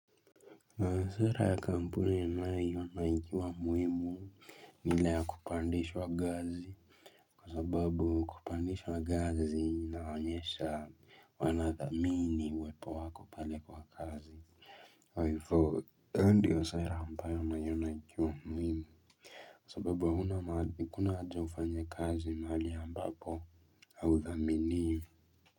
Maswala ya kampuni yninayo iona ikiwa muhimu, ni ile ya kupandishwa gazi. Kwa sababu kupandishwa gazi inaonyesha wanathamini uwepo wako pale kwa kazi. Kwa hivo, hio ndiyo seta ambayo naiona ikiwa muhimu. Kwa sababu hakuna haja ufanye kazi mahali ambapo hauthaminiwi.